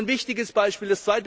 Das ist ein wichtiges Beispiel.